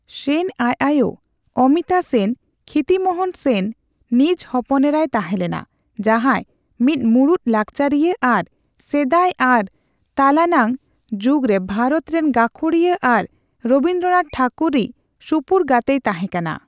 ᱥᱮᱱ ᱟᱡ ᱟᱭᱳ ᱚᱢᱤᱛᱟ ᱥᱮᱱ ᱠᱷᱤᱛᱤᱢᱚᱦᱚᱱ ᱥᱮᱱ ᱱᱤᱡ ᱦᱚᱯᱚᱱᱮᱨᱟᱭ ᱛᱟᱦᱮᱸ ᱞᱮᱱᱟ, ᱡᱟᱦᱟᱸᱭ ᱢᱤᱫ ᱢᱩᱲᱩᱫ ᱞᱟᱠᱪᱟᱨᱤᱭᱟᱹ ᱟᱨ ᱥᱮᱫᱟᱭ ᱟᱨ ᱛᱟᱞᱟᱱᱟᱝ ᱡᱩᱜᱽ ᱨᱮ ᱵᱷᱟᱨᱚᱛ ᱨᱮᱱ ᱜᱟᱹᱠᱷᱩᱲᱤᱭᱟᱹ ᱟᱨ ᱨᱚᱵᱤᱱᱫᱽᱨᱚᱱᱷᱟᱛ ᱴᱷᱟᱠᱩᱨ ᱨᱤᱡ ᱥᱩᱯᱩᱨ ᱜᱟᱛᱮᱭ ᱛᱟᱦᱮᱸᱠᱟᱱᱟ᱾